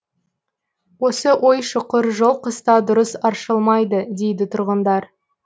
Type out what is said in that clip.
осы ой шұқыр жол қыста дұрыс аршылмайды дейді тұрғындар